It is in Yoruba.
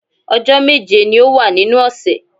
Ọjọ́ méje ni ó wà nínú ọ̀sẹ̀